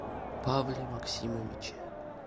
павле максимовиче